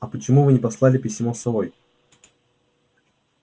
а почему вы не послали письмо с совой